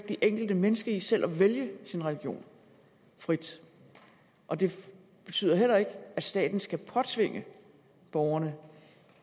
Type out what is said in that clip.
enkelte menneske i selv at vælge sin religion frit og det betyder heller ikke at staten skal påtvinge borgerne